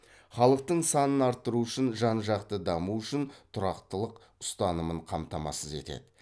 халықтың санын арттыру үшін жан жақты даму үшін тұрақтылық ұстанымын қамтамасыз етеді